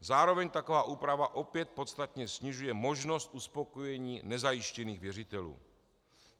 Zároveň taková úprava opět podstatně snižuje možnost uspokojení nezajištěných věřitelů.